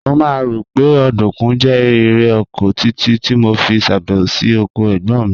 Mo máa ń rò pé ọ̀dùnkún jẹ́ irè oko títí tí mo fi ṣèbẹ̀wò sí oko ẹ̀gbọ́n mi